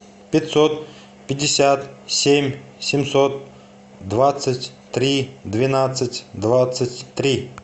пятьсот пятьдесят семь семьсот двадцать три двенадцать двадцать три